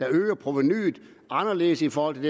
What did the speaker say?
øger provenuet anderledes i forhold